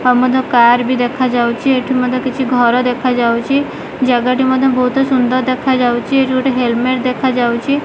Pramod car ବି ଦେଖାଯାଉଛି ଏଠି ମଧ୍ୟ କିଛି ଘର ଦେଖାଯାଉଛି ଜାଗାଟି ମଧ୍ୟ ବହୁତ ସୁନ୍ଦର ଦେଖାଯାଉଛି ଏଠି ଗୋଟେ ହେଲମେଟ ଦେଖାଯାଉଛି।